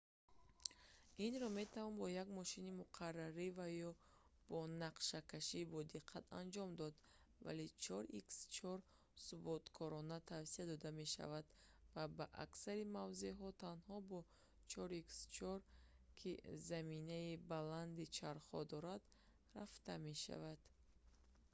инро метавон бо як мошини муқаррарӣ ва бо нақшакашии бодиққат анҷом дод вале 4х4 суботкорона тавсия дода мешавад ва ба аксари мавзеъҳо танҳо бо 4х4 ки заминаи баланди чархҳо дорад рафта мешавад